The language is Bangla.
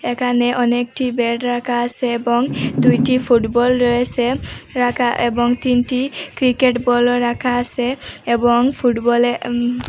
একানে অনেকটি বেড রাকা আসে এবং দুইটি ফুটবল রয়েসে রাকা এবং তিনটি ক্রিকেট বলও রাকা আসে এবং ফুটবলে উম--।